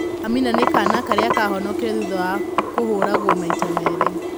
Amina nĩ kaana karĩa kahonokire thutha wa kũhũragwo maita merĩ